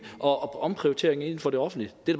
og omprioritere inden for det offentlige det